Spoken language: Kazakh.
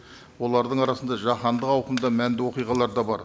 олардың арасында жаһандық ауқымда мәнді оқиғалар да бар